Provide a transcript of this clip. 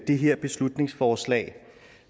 det her beslutningsforslag